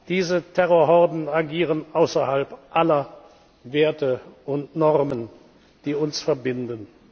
Diese Terrorhorden agieren außerhalb aller Werte und Normen, die uns verbinden.